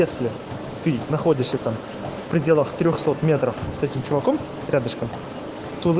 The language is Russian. ты находишься там в пределах этим человеком рядышком